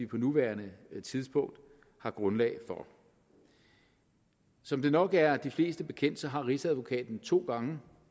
på nuværende tidspunkt er grundlag for som det nok er de fleste bekendt har rigsadvokaten to gange